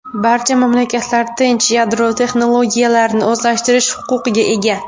Barcha mamlakatlar tinch yadro texnologiyalarini o‘zlashtirish huquqiga ega.